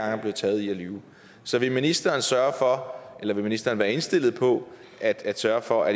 er blevet taget i at lyve så vil ministeren sørge for eller vil ministeren være indstillet på at sørge for at